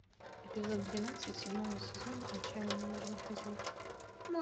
эпизод двенадцать седьмого сезона отчаянные домохозяйки